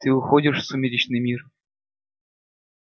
ты уходишь в сумеречный мир